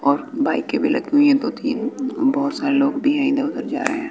और बाइके भी लगी हुई हैं दो-तीन बहोत सारे लोग भी हैं इधर-उधर जा रहे --